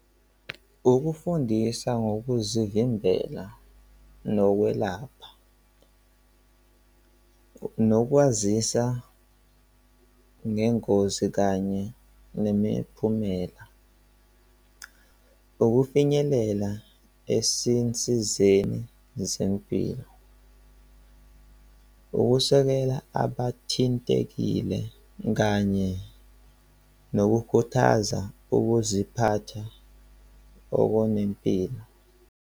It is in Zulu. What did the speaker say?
Ukufundisa ngokuzivimbela nokwelapha nokwazisa ngengozi kanye nemiphumela. Ukufinyelela esisinsizeni zempilo, ukusekela abathintekile kanye nokukhuthaza ukuziphatha okunempilo.